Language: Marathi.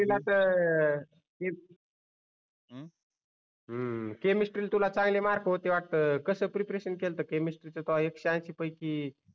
केमिस्ट्रीला तर केमिस्ट्री ला तुला चांगले मार्क होते वाटत कस प्रिपरेशन केलत केमिस्ट्रीच एकशे अनशी पैकी